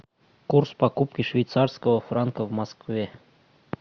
курс покупки швейцарского франка в москве